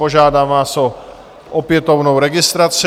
Požádám vás o opětovnou registraci.